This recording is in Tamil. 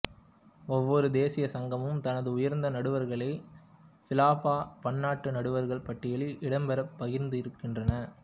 ஒவ்வொரு தேசியச் சங்கமும் தனது உயர்ந்த நடுவர்களை பிஃபா பன்னாட்டு நடுவர்கள் பட்டியலில் இடம்பெற பரிந்துரைக்கின்றன